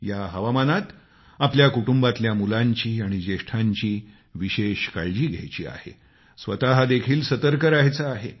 या हवामानात आपल्याला कुटुंबांतल्या मुलांची आणि ज्येष्ठांची विशेष काळजी घ्यायची आहे स्वतः देखील सतर्क रहायचं आहे